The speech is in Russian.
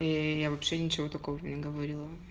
и я вообще ничего такого не говорила